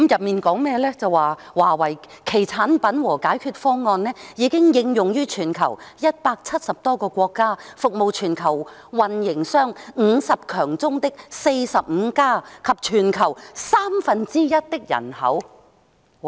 便是"華為......產品和解決方案已經應用於全球170多個國家，服務全球運營商50強中的45家及全球三分之一的人口"。